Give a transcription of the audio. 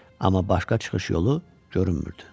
Amma başqa çıxış yolu görünmürdü.